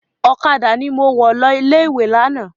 Ọ̀kadà ni mo wọ̀ lọ ilé-ìwé lánàá.